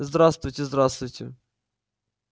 здравствуйте здравствуйте